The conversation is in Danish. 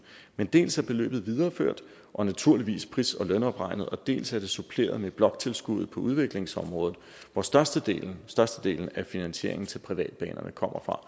men dels er beløbet videreført og naturligvis pris og lønopregnet dels er det suppleret med et bloktilskud på udviklingsområdet hvor størstedelen størstedelen af finansieringen til privatbanerne kommer fra